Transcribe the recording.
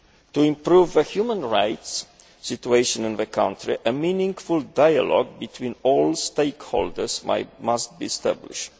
To improve the human rights situation in the country, a meaningful dialogue between all stakeholders must be established.